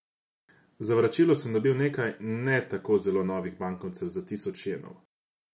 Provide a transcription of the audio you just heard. Za vračilo sem dobil nekaj ne tako zelo novih bankovcev za tisoč jenov.